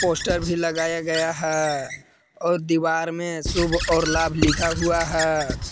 Poster भी लगाया गया है और दीवार में शुभ और लाभ लिखा हुआ है।